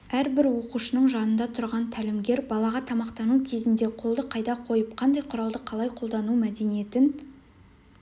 әрбір оқушының жанында тұрған тәлімгер балаға тамақтану кезінде қолды қайда қойып қандай құралды қалай қолдану мәдениетін